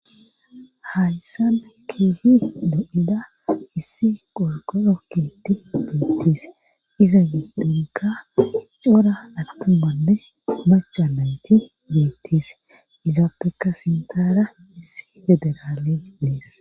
hayssabe keehi do7ida issi qorgoro keetti beettis iza dhunga cora altumanne machanayti beettis izaappeka sintara iss federaaley dees